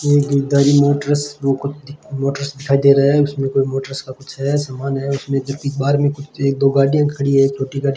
ये Geeta ji motors motors दिखाई दे रहा है उसमें कोई मोटर्स का कुछ है सामान है उसमें जब कि बाहर में एक दो गाड़ियां खड़ी है एक छोटी गाड़ी --